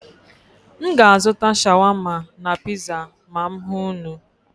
M ga-azụta shawama na piza ma m hụ unu.